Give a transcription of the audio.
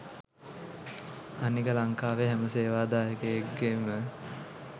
අනික ලංකාවෙ හැම ‍සේවා දායකයෙක්ගෙම